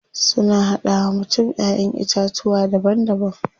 Suna hada wa mutum Ƴaƴan itatuwa daban daban.